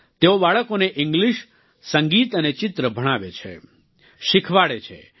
તેઓ બાળકોને ઈંગ્લિશ સંગીત અને ચિત્ર ભણાવે છે શિખવાડે છે